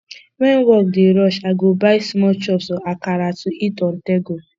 when work dey rush i go buy small chops or akara to eat onthego